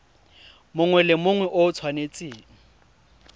mongwe le mongwe o tshwanetse